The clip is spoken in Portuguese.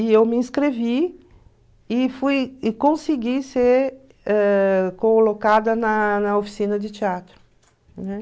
E eu me inscrevi e fui e consegui ser ãh colocada na na oficina de teatro, né?